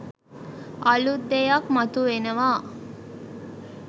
අලුත් දෙයක් මතු වෙනවා